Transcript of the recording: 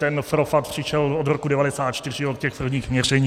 Ten propad přišel od roku 1994 od těch prvních měření.